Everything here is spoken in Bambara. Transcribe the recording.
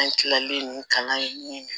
An kilalen kalan